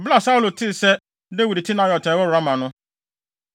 Bere a Saulo tee sɛ Dawid te Naiot a ɛwɔ Rama no,